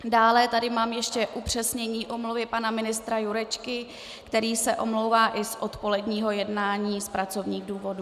Dále tady mám ještě upřesnění omluvy pana ministra Jurečky, který se omlouvá i z odpoledního jednání z pracovních důvodů.